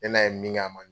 Ne n'a ye min k'a ma